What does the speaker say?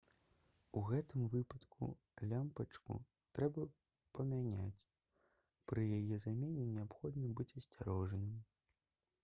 у гэтым выпадку лямпачку трэба памяняць пры яе замене неабходна быць асцярожным